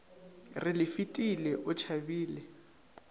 re le fefile o tšhabele